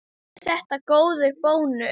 Er þetta góður bónus?